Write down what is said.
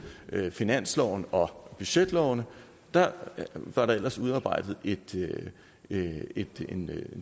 finansloven og budgetlovene var der ellers udarbejdet en